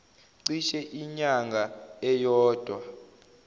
cishe inyanga eyodwa